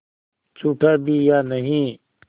छूटा भी या नहीं